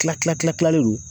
Tila tila tila tilalen don